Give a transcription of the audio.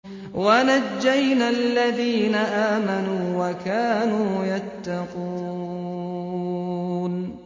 وَنَجَّيْنَا الَّذِينَ آمَنُوا وَكَانُوا يَتَّقُونَ